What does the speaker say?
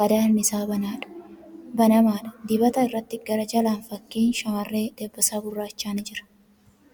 qadaadni isaa banamaadha. Dibata irratti gara jalaan fakkiin shamarree dabbasaa gurraachaa ni jira.